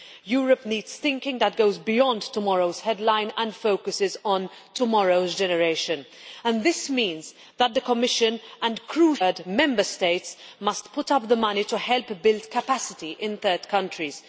Europe needs thinking that goes beyond tomorrow's headline and focuses on tomorrow's generation, and this means that the Commission and, crucially, as we have heard, the Member States must put up the money to help build capacity in third countries.